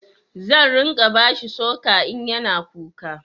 Zan ringa bashi sucker in ya na kuka